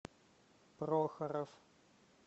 прохоров